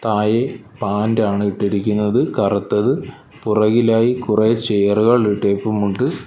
ആയേ പാന്റാണ് ഇട്ടിരിക്കുന്നത് കറുത്തത് പുറകിലായി കുറേ ചെയറുകൾ ഇട്ടേപ്പുമുണ്ട്.